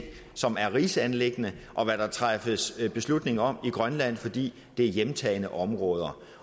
som er rigsanliggender og hvad der træffes beslutning om i grønland fordi det er hjemtagne områder